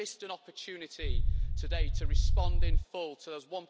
We have missed an opportunity today to respond in full to those